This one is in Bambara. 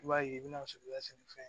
I b'a ye i bɛna suruɲa sɛnɛfɛn